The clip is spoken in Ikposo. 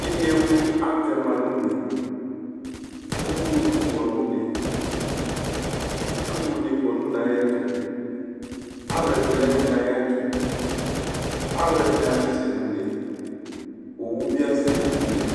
Inewlu atɛma, uvloku kɔ nʋ une, itsu wʋ nɩ kɔ nʋ une ayɛtʋ, alʋ ɛdɩnɩ ya nʋ une ayɛtʋ, alʋ ɛdɩnɩ asɛsɛ nʋ une, owu bɩ asɛli nʋ une